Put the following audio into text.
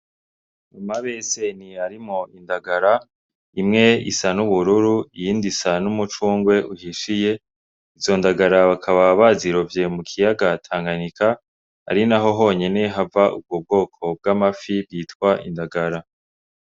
Amabeseni arimwo indagara. Imwe isa n'ubururu iyindi isa n'umucungwe uhishiye, izo ndagara bakaba bazirovye mu kiyaga Tanganyika, ari naho honyene hava ubwo bwoko bw'amafi bwitwa indagara.